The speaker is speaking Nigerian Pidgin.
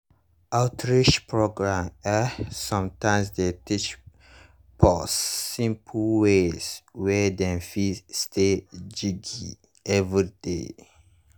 outreach programs eh sometimes dey teach pause simple ways wey dem fit stay jiggy everyday.